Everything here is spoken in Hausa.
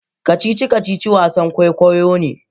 kacici-kacici wasan kwoikwayo ne